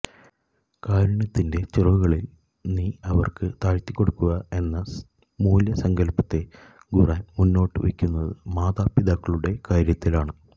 കാരുണ്യത്തിന്റെ ചിറകുകള് നീ അവര്ക്ക് താഴ്ത്തിക്കൊടുക്കുക എന്ന മൂല്യസങ്കല്പത്തെ ഖുര്ആന് മുന്നോട്ടു വെക്കുന്നത് മാതാപിതാക്കളുടെ കാര്യത്തിലാണ്